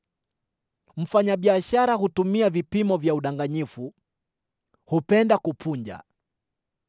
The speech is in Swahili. Mfanyabiashara hutumia vipimo vya udanganyifu; hupenda kupunja.